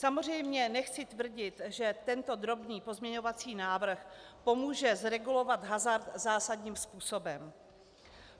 Samozřejmě nechci tvrdit, že tento drobný pozměňovací návrh pomůže zregulovat hazard zásadním způsobem.